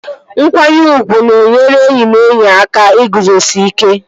Nkwanyere ugwu ga-enyere enyi na enyi aka iguzosi ike